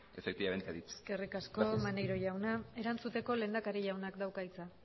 efectivamente ha dicho gracias eskerrik asko maneiro jauna erantzuteko lehendakari jaunak dauka hitza